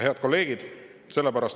Head kolleegid!